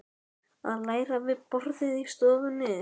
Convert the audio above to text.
Að læra við borðið í stofunni.